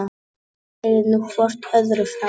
Segið nú hvort öðru frá.